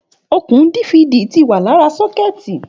Òkún Difidi wà làrá sọkẹti